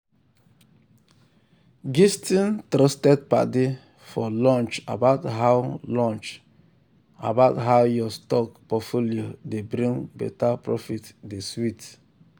gisting trusted padi for lunch about how lunch about how your stock portfolio dey bring better profit dey sweet well.